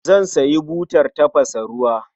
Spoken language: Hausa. Zan sayi butar tafasa ruwa.